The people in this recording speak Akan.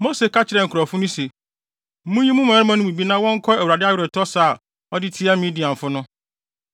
Mose ka kyerɛɛ nkurɔfo so se, “Munyi mo mmarima no mu bi na wɔnkɔ Awurade aweretɔ sa a ɔde tia Midianfo no.